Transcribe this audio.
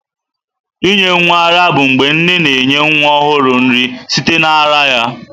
Inye nwa ara bụ mgbe nne na-enye nwa ọhụrụ nri site na ara ya.